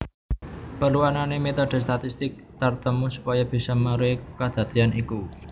Perlu anané metode statistik tartemtu supaya bisa meruhi kadadean iku